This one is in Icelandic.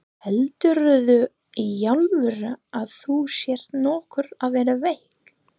Heldurðu í alvöru að þú sért nokkuð að verða veik.